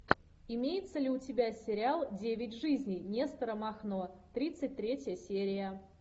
имеется ли у тебя сериал девять жизней нестора махно тридцать третья серия